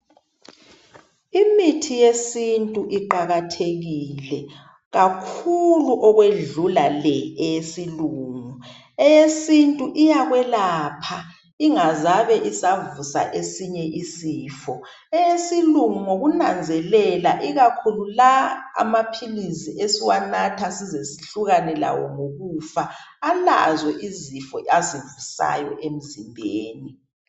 Imithi yesintu iqakathekile kakhulu okwedlula le eyesilungu. Eyesintu iyakwelapha ingazabe isavusa esinye isifo. Eyesilungu ngokunanzelela ikakhulu la amaphilisi esiwanatha size sihlukane lawo ngokufa alazo izifo azivusayo emzimbeni.